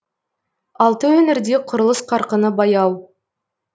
алты өңірде құрылыс қарқыны баяу